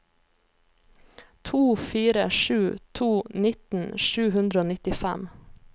to fire sju to nitten sju hundre og nittifem